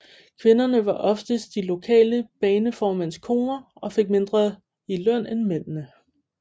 Kvinderne var oftest de lokale baneformænds koner og fik mindre i løn end mændene